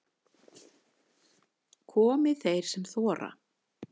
Komi þeir sem þora